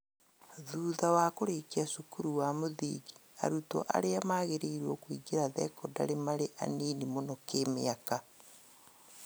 Thutha wa kũrĩkia cukuru wa mũthingi arutwo arĩa magĩrĩirwo nĩkũingĩra thekondarĩ marĩ anini mũno kĩmĩaka